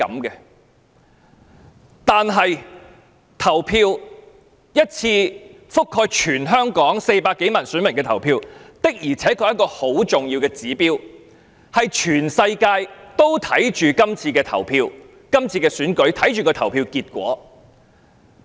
但是，一場覆蓋全香港400多萬名選民的投票，的確是一個很重要的指標，全世界都注視着這次區議會選舉，關心投票結果。